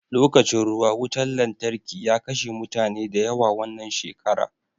Lokacin ruwa wutan lantarki ya kashe mutane da yawa wannan shekara